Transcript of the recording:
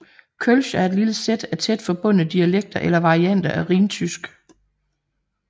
Kölsch er et lille set af tæt forbundne dialekter eller varianter af rhintysk